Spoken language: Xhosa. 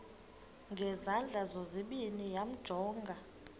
ngezandla zozibini yamjonga